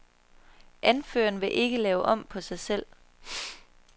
Anføreren vil ikke lave om på sig selv.